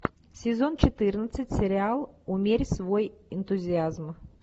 сезон четырнадцать сериал умерь свой энтузиазм